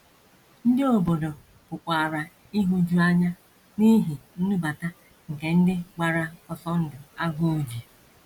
Ndị obodo pụkwara ịhụju anya n’ihi nnubata nke ndị gbara ọsọ ndụ agụụ ji.